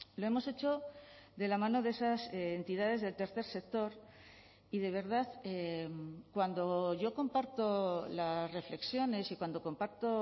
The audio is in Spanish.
lo hemos hecho de la mano de esas entidades del tercer sector y de verdad cuando yo comparto las reflexiones y cuando compacto